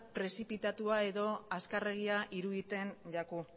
prezipitatua edo azkarregia iruditzen zaigu